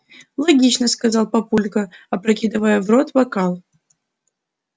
логично сказал папулька опрокидывая в рот бокал